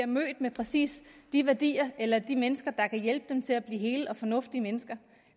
mødt med præcis de værdier eller de mennesker der kan hjælpe dem til at blive hele og fornuftige mennesker